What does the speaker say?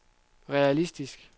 realistisk